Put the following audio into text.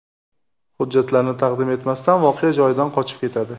Hujjatlarini taqdim etmasdan voqea joyidan qochib ketadi.